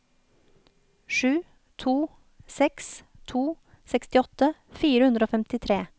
sju to seks to sekstiåtte fire hundre og femtitre